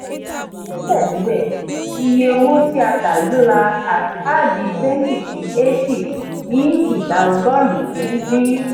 síbẹ̀síbẹ̀ iye owó tí a tà gbéra àdi twenty sí eighty ní idà ọgọ́rùn-ún dín.